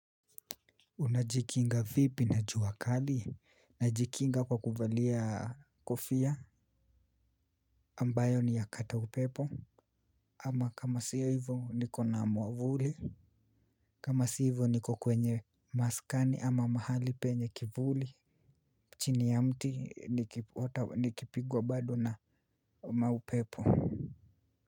Unajikinga vipi na jua kali? Najikinga kwa kuvalia kofia ambayo ni ya kata upepo ama kama sio hivyo nikona mwavuli kama sio hivyo niko kwenye maskani ama mahali penye kivuli chini ya mti nikipigwa bado na maupepo.